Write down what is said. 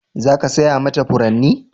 Za ka saya mata furanni?